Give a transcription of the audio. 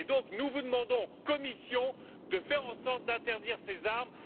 Donc, nous demandons à la Commission de faire en sorte d'interdire ces armes.